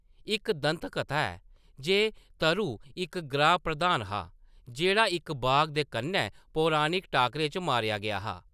इक दंतकथा ऐ जे तरु इक ग्रां- प्रधान हा जेह्‌‌ड़ा इक बाघ दे कन्नै पौराणक टाकरे च मारेआ गेआ हा।